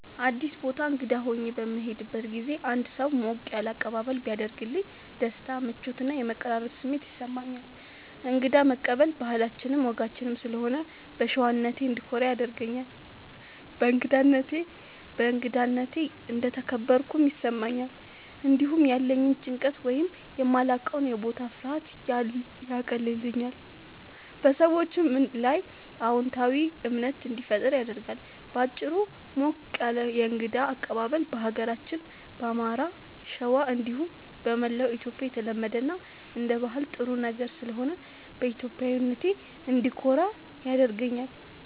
አዲስ ቦታ እንግዳ ሆኜ በምሄድበት ጊዜ አንድ ሰው ሞቅ ያለ አቀባበል ቢያደርግልኝ ደስታ፣ ምቾት እና የመቀራረብ ስሜት ይሰማኛል። እንግዳ መቀበል ባህላችንም ወጋችንም ስለሆነ በሸዋነቴ እንድኮራ ያደርገኛል። በእንግዳነቴ እንደተከበርኩም ይሰማኛል። እንዲሁም ያለኝን ጭንቀት ወይም የማላዉቀዉ የቦታ ፍርሃት ያቀልልኛል፣ በሰዎቹም ላይ አዎንታዊ እምነት እንዲፈጠር ያደርጋል። በአጭሩ፣ ሞቅ ያለ የእንግዳ አቀባበል በሀገራችን በአማራ(ሸዋ) እንዲሁም በመላዉ ኢትዮጽያ የተለመደ እና አንደ ባህል ጥሩ ነገር ስለሆነ በኢትዮጵያዊነቴ እንድኮራ ያደርገኛል።